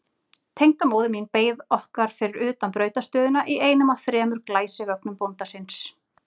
Tengdamóðir mín beið okkar fyrir utan brautarstöðina í einum af þremur glæsivögnum bónda síns.